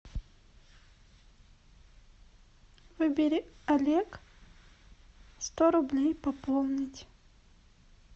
выбери олег сто рублей пополнить